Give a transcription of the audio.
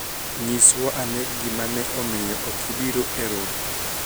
nyiswa ane gimane omiyo ok ibiro e romo